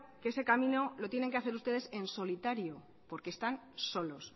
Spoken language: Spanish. que ese camino lo tienen que hacer ustedes en solitario porque están solos